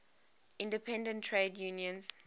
independent trade unions